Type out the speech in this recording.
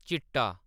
चिट्टा